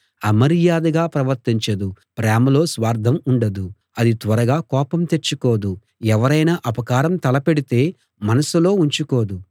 అమర్యాదగా ప్రవర్తించదు ప్రేమలో స్వార్ధం ఉండదు అది త్వరగా కోపం తెచ్చుకోదు ఎవరైనా అపకారం తలపెడితే మనసులో ఉంచుకోదు